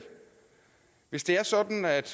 hvis det er sådan at